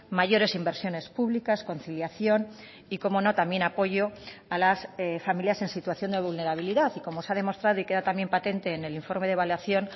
mayores inversiones públicas conciliación y cómo no también apoyo a las familias en situación de vulnerabilidad y como se ha demostrado y queda también patente en el informe de evaluación